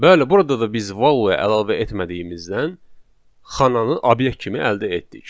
Bəli, burada da biz value əlavə etmədiyimizdən xananı obyekt kimi əldə etdik.